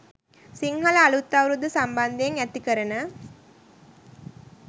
සිංහල අලූත් අවුරුද්ද සම්බන්ධයෙන් ඇතිකරන